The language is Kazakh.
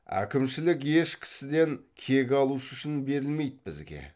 әкімшілік еш кісіден кек алушы үшін берілмейді бізге